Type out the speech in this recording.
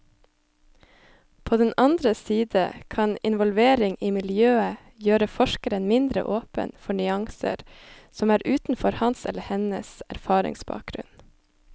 På den andre side kan involvering i miljøet gjøre forskeren mindre åpen for nyanser som er utenfor hans eller hennes erfaringsbakgrunn.